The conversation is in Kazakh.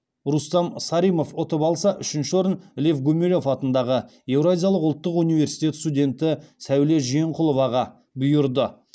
рустам саримов ұтып алса үшінші орын лев гумилев атындағы еуразиялық ұлттық университеті студенті сәуле жиенқұловаға бұйырды